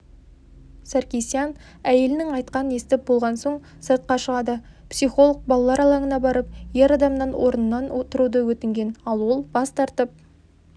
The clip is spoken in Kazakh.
саркисян әйелінің айтқанын естіп болған соң сыртқа шығады психолог балалар алаңына барып ер адамнан орнынан тұруды өтінген ал ол бас тартып